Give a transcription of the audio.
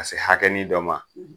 Ka se hakɛnin dɔ ma